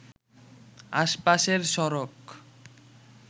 আশপাশের সড়ক